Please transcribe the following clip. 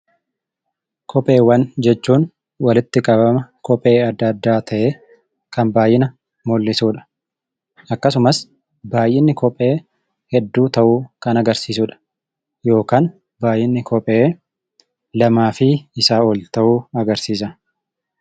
Kopheewwan jechuun walitti qabama kophee adda addaa ta'ee kan baay'ina mul'isuu dha. Akkasumas baay'inni kophee hedduu ta'uu kan agarsiisu dha. Yookaan baay'inni kophee lamaa fi isaa ol ta'uu agarsiisa.